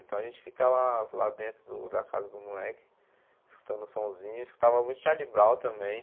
Então a gente ficava lá dentro do da casa do moleque escutando um somzinho, escutava muito Charlie Brown também.